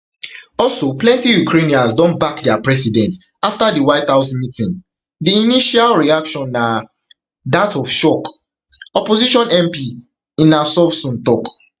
also plenty ukrainians don back dia president afta di white house meeting di initial reaction na dat of shock opposition mp inna sovsun tok